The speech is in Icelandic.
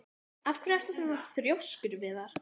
Af hverju ertu svona þrjóskur, Viðjar?